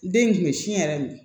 Den tun bɛ sin yɛrɛ de